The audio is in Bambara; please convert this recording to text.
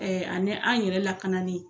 ani an yɛrɛ lakanali.